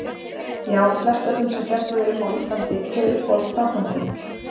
Já flest öllum sem fjallað er um á íslandi Hver er uppáhalds platan þín?